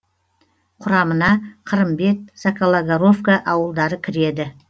құрамына қырымбет сокологоровка ауылдары кіреді